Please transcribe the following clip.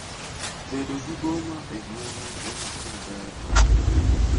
Bedo gi boma e gweng'u en gimaber ahinya.